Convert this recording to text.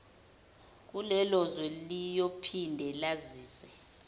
kulelozwe liyophinde lazise